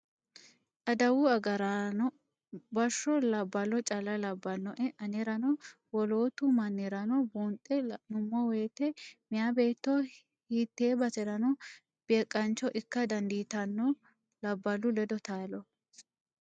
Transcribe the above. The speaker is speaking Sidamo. Adawu agaraano bashsho labbalo calla labbanoe anerano woloottu mannirano buunxe la'nuummo woyte meya beetto hiite baserano beeqancho ikka dandiittano labbahu ledo taalo.